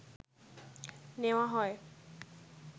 নেওয়া হয়